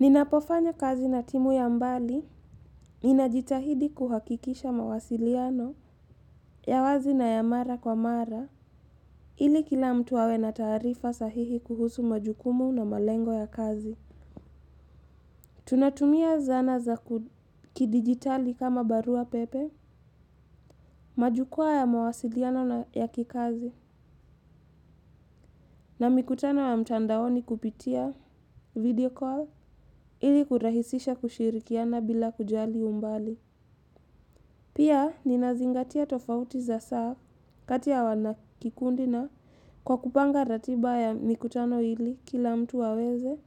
Ninapofanya kazi na timu ya mbali, ninajitahidi kuhakikisha mawasiliano, ya wazi na ya mara kwa mara, ili kila mtu awe na taarifa sahihi kuhusu majukumu na malengo ya kazi. Tunatumia zana za kidigitali kama barua pepe, majukua ya mawasiliano na ya kikazi, na mikutano ya mtandaoni kupitia video call, ili kurahisisha kushirikiana bila kujali umbali. Pia, ninazingatia tofauti za saa kati ya wanakikundi na kwa kupanga ratiba ya mikutano hili kila mtu aweze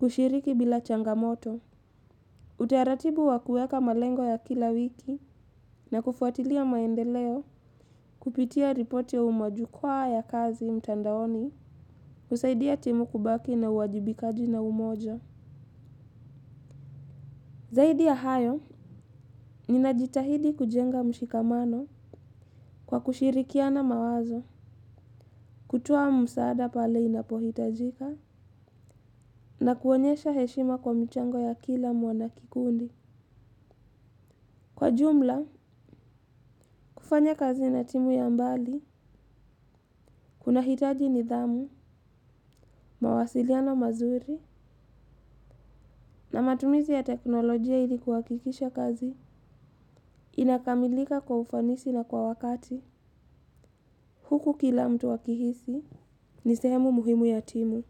kushiriki bila changamoto. Utaratibu wa kueka malengo ya kila wiki na kufuatilia maendeleo kupitia ripoti umajukwa ya kazi mtandaoni husaidia timu kubaki na uwajibikaji na umoja. Zaidi ya hayo, ninajitahidi kujenga mushikamano kwa kushirikiana mawazo, kutuwa msaada pale inapohitajika, na kuonyesha heshima kwa mchango ya kila mwanakikundi. Kwa jumla, kufanya kazi na timu ya mbali, kuna hitaji nidhamu, mawasiliano mazuri, na matumizi ya teknolojia ilikuhakikisha kazi, inakamilika kwa ufanisi na kwa wakati, huku kila mtu akihisi, ni sehemu muhimu ya timu.